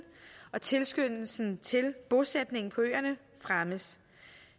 og tilskyndelsen til bosætning på øerne fremmes